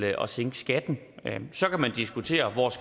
at sænke skatten så kan man diskutere